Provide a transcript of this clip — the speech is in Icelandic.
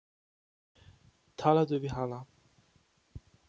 Talaðu við hana.